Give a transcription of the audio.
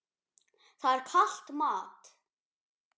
Það er kalt mat.